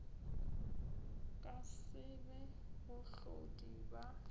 ka se be bahlodi ba